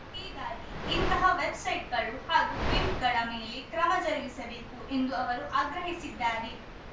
ಹೀಗಾಗಿ ಇಂಥಹ ವೆಬ್‌ಸೈಟ್‌ಗಳು ಹಾಗೂ ಪಿಂಪ್‌ಗಳ ಮೇಲೆ ಕ್ರಮ ಜರುಗಿಸಬೇಕು ಎಂದು ಅವರು ಆಗ್ರಹಿಸಿದ್ದಾರೆ